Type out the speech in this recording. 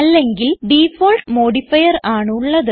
അല്ലെങ്കിൽ default modifier ആണ് ഉള്ളത്